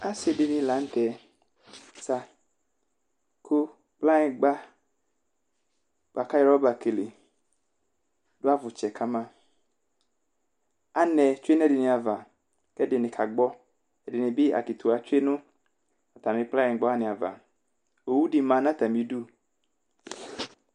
Asidini lanu tɛ zaku kplanyigba buaku ayɔ ɔva lele dʋ avʋtsɛ kamaanɛ tsoe nʋ ɛdini'avaku ɛdini kagbɔɛdini bi akitiwa tsoe nu atami kplanyigba wani'avaowu di ma nu atamidu